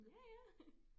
Ja ja